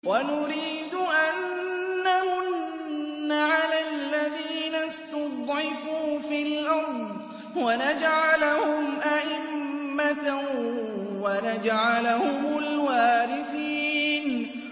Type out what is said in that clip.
وَنُرِيدُ أَن نَّمُنَّ عَلَى الَّذِينَ اسْتُضْعِفُوا فِي الْأَرْضِ وَنَجْعَلَهُمْ أَئِمَّةً وَنَجْعَلَهُمُ الْوَارِثِينَ